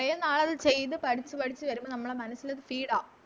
കൊറേ നാളത് ചെയ്ത പഠിച്ച് പഠിച്ച് വരുമ്പോ നമ്മളെ മനസ്സിലോര് Speed ആ